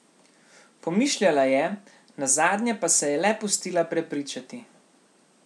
Pomišljala je, nazadnje pa se je le pustila prepričati.